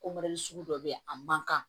sugu dɔ be yen a man kan